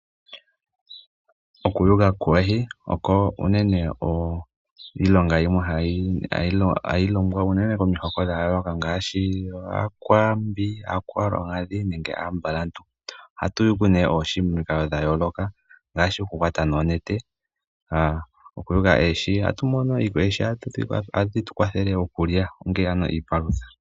Okuyuga kwoohi oko unene iilonga yimwe hayi longwa unene komihoko dha yooloka ngaashi; aakwambi, aakwaluudhi nenge aambalantu. Ohatu yulu nee oohi momikalo dhayooloka ngaashi; okukwata noonete okuyula oohi ohatu mono , oohi ohadhi tu kwathele okulya ongele ano iipalutha.